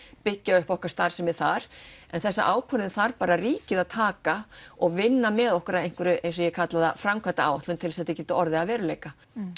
byggja upp okkar starfsemi þar en þessa ákvörðun þarf ríkið að taka og vinna með okkur að einhverri eins og ég kalla það framkvæmdaáætlun til þess að þetta geti orðið að veruleika